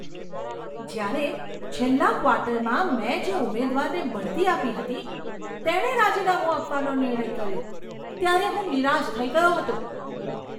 જ્યારે છેલ્લા ક્વાર્ટરમાં મેં જે ઉમેદવારને બઢતી આપી હતી તેણે રાજીનામું આપવાનો નિર્ણય કર્યો ત્યારે હું નિરાશ થઈ ગયો હતો.